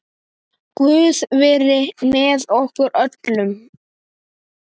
Guð veri með okkur öllum.